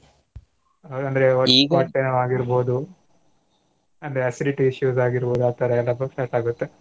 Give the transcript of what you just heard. ಅದ್ ಅಂದ್ರೆ ಆಗೀರ್ಬೋದು ಅಂದ್ರೆ acidity ಶುರುವಾಗಿರ್ಬೋದು ಆತರಾ ಎಲ್ಲಾ first start ಆಗುತ್ತೆ.